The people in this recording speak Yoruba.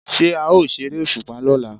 Ṣé a ó ṣeré òṣùpá lọ́la?